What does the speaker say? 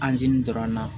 dɔrɔn na